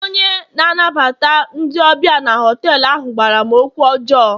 onye na-anabata ndị ọbịa na họtelu ahụ gwara m okwu ọjọọ